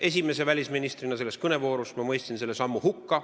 Ei, esimese välisministrina selles kõnevoorus sõna võttes mõistsin ma selle sammu hukka.